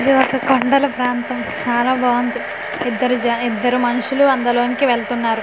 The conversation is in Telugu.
ఇది ఒక కొండల ప్రాంతం చాలా బావుంది ఇద్దరు జా ఇద్దరు మనుషులు అందులోనికి వెల్తున్నారు.